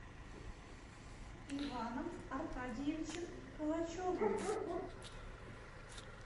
иваном аркадьевичем калачевым